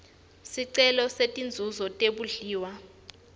sicelo setinzuzo tebondliwa